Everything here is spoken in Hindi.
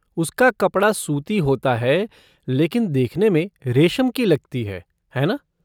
उसका कपड़ा सूती होता है लेकिन देखने में रेशम की लगती है, है ना?